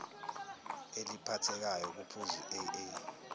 eliphathekayo kuphuzu aa